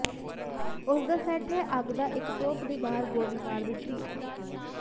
ਉਸ ਦਾ ਸੈੱਟ ਹੈ ਅੱਗ ਦਾ ਇੱਕ ਤੋਪ ਦੇ ਬਾਹਰ ਗੋਲੀ ਮਾਰ ਦਿੱਤੀ